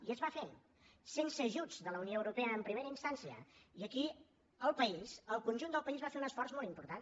i es va fer sense ajuts de la unió europea en primera instància i aquí el país el conjunt del país va fer un esforç molt important